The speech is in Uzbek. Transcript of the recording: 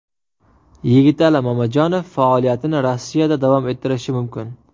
Yigitali Mamajonov faoliyatini Rossiyada davom ettirishi mumkin.